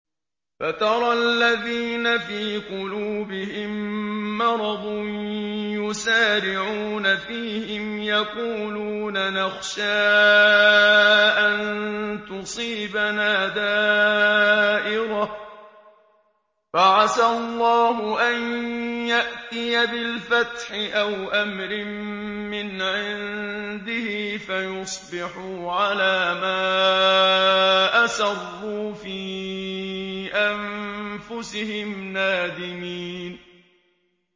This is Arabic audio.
فَتَرَى الَّذِينَ فِي قُلُوبِهِم مَّرَضٌ يُسَارِعُونَ فِيهِمْ يَقُولُونَ نَخْشَىٰ أَن تُصِيبَنَا دَائِرَةٌ ۚ فَعَسَى اللَّهُ أَن يَأْتِيَ بِالْفَتْحِ أَوْ أَمْرٍ مِّنْ عِندِهِ فَيُصْبِحُوا عَلَىٰ مَا أَسَرُّوا فِي أَنفُسِهِمْ نَادِمِينَ